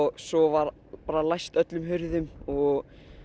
svo var bara læst öllum hurðum og